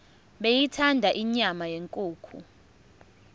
beyithanda inyama yenkukhu